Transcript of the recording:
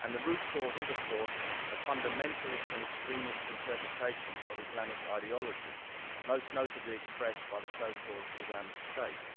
and the root cause is, of course, a fundamentalist and extremist interpretation of Islamic ideology, most notably expressed by the so called Islamic State.